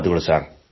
ಧನ್ಯವಾದಗಳು